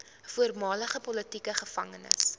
voormalige politieke gevangenes